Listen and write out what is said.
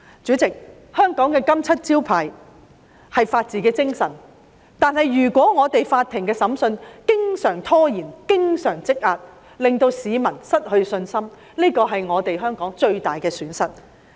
主席，香港的"金漆招牌"是法治精神，如果法庭的審訊經常拖延、積壓，令市民失去信心，這是香港最大的損失。